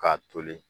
K'a toli